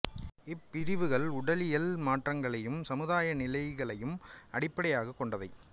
இப் பிரிவுகள் உடலியல் மாற்றங்களையும் சமுதாய நிலைகளையும் அடிப்படையாகக் கொண்டவை